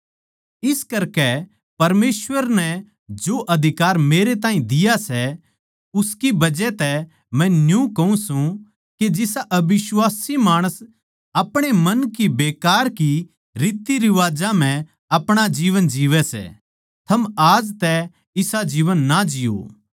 इस करकै परमेसवर नै जो अधिकार मेरे ताहीं दिया सै उसकी बजह तै मै न्यू कहूँ सू के जिसा अबिश्वासी माणस अपणे मन की बेकार की रीतरिवाजां म्ह आपणा जीवन जीवै सै थम आज तै इसा जीवन ना जिओ